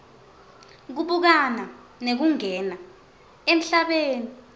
kubukana nekungena emhlabeni